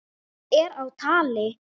Það er á tali.